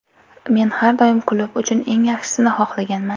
Men har doim klub uchun eng yaxshisini xohlaganman.